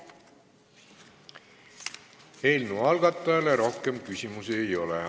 Eelnõu algatajale rohkem küsimusi ei ole.